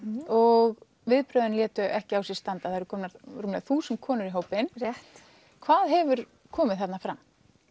og viðbrögðin létu ekki á sér standa það eru komnar rúmlega þúsund konur í hópinn rétt hvað hefur komið þarna fram